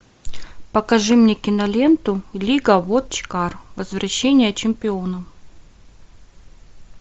покажи мне киноленту лига вотчкар возвращение чемпионов